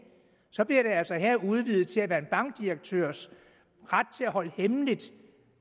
så udvidet til at være en bankdirektørs ret til at holde hemmeligt